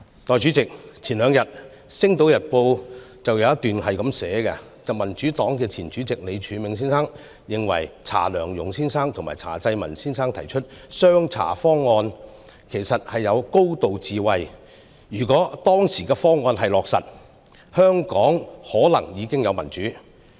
代理主席，前兩天《星島日報》有一篇報道，透露民主黨前主席李柱銘先生認為查良鏞先生和查濟民先生提出的"雙查方案"，其實具有高度智慧，如果當時的方案落實，香港可能已有民主。